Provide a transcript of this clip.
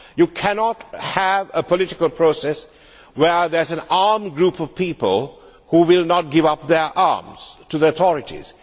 You cannot have a political process where there is an armed group of people who will not give up their arms to the authorities.